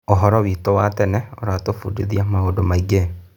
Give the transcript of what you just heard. ũhoro witũ wa tene ũratũbundithia maũndũ maingĩ.